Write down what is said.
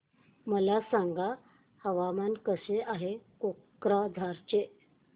मला सांगा हवामान कसे आहे कोक्राझार चे